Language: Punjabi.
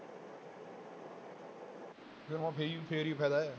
ਵੀ ਹੁਣ ਫਿਰ ਹੀ ਫਿਰ ਹੀ ਫ਼ਾਇਦਾ ਹੈ।